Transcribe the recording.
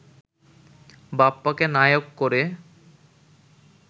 বাপ্পাকে নায়ক করে